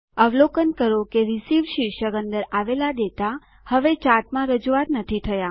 અવલોકન કરો કે રિસીવ્ડ શીર્ષક અંદર આવેલ ડેટા હવે ચાર્ટમાં રજૂઆત નથી થયા